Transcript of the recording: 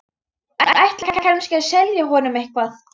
Hún ætlaði kannski að selja honum eitthvað.